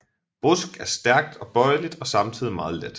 Brusk er stærkt og bøjeligt og samtidig meget let